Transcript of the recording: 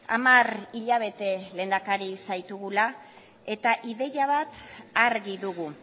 hamar hilabete lehendakari zaitugula eta ideia bat argi dugu